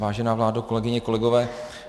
Vážená vládo, kolegyně, kolegové.